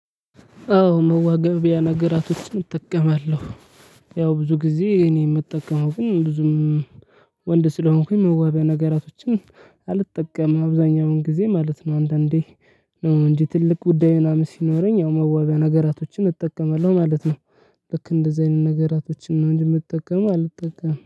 አዎ መዋቢያ ነገራቶችን እጠቀማለሁ ያው ብዙ ጊዜ እኔ የምጠቀመው ግን ብዙም ወንድ ስለሆንኩኝ መዋቢያ ነገራቶችን አልጠቀምም አብዛኛውን ጊዜ ማለት ነው። አንዳንዴ ነው እንጂ ትልቅ ጉዳይ ምናምን ሲኖረኝ ያው መዋቢያ ነገራቶችን እጠቀማለሁ ማለት ነው። ልክ እንደዚህ አይነት ነገራቶችን ነው እንጂ የምጠቀመው አልጠቀምም